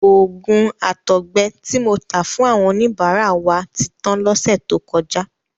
Òògùn àtọgbẹ ti mo ta fún àwọn oníbàárà wa ti tan lọ́sẹ̀ tó kọjá.